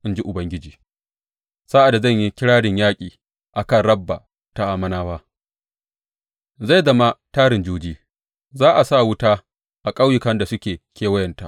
in ji Ubangiji, sa’ad da zan yi kirarin yaƙi a kan Rabba ta Ammonawa; zai zama tarin juji, za a sa wuta a ƙauyukan da suke kewayenta.